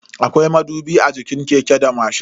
Akwai madubi a jikin keke da mashin.